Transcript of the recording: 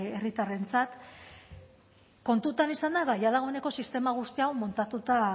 herritarrentzat kontutan izanda ba ja dagoeneko sistema guzti hau montatuta